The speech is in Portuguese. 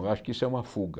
Eu acho que isso é uma fuga.